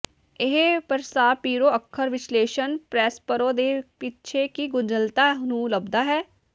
ਇਹ ਪ੍ਰਾਸਪੀਰੋ ਅੱਖਰ ਵਿਸ਼ਲੇਸ਼ਣ ਪ੍ਰੋਸਪਰੋ ਦੇ ਪਿੱਛੇ ਦੀ ਗੁੰਝਲਤਾ ਨੂੰ ਲੱਭਦਾ ਹੈ